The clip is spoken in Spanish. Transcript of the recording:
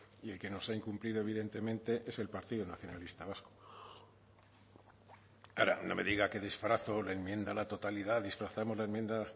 y el que nos ha incumplido evidentemente es el partido nacionalista vasco ahora no me diga que disfrazo la enmienda a la totalidad disfrazamos la enmienda